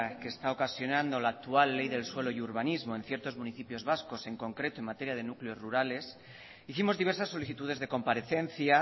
que está ocasionando la actual ley del suelo y urbanismo en ciertos municipios vascos en concreto en materia de núcleos rurales hicimos diversas solicitudes de comparecencia